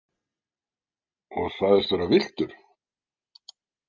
Og sagðist vera villtur?